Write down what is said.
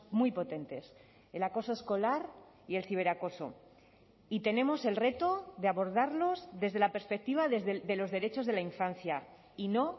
muy potentes el acoso escolar y el ciberacoso y tenemos el reto de abordarlos desde la perspectiva de los derechos de la infancia y no